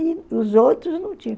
E os outros não tinham.